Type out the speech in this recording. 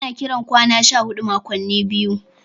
Ana kiran kwana 14 makwanni biyu.